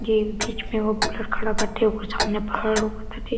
ये बीच में एगो बुलेट खड़ा बाटे ओकर सामने पहाड़ रोक ताटे --